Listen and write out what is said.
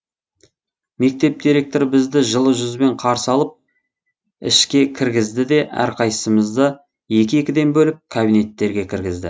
мектеп директоры бізді жылы жүзбен қарсы алып ішке кіргізді де әрқайсысымызды екі екіден бөліп кабинеттерге кіргізді